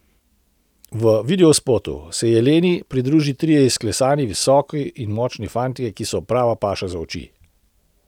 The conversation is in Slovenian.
V videospotu so se Jeleni pridružili trije izklesani, visoki in močni fantje, ki so prava paša za oči.